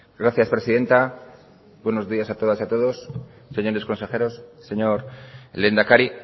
gracias presidenta buenos días a todas y a todos señores consejeros señor lehendakari